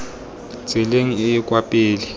tseleng e e kwa pele